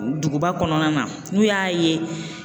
Duguba kɔnɔna na n'u y'a ye.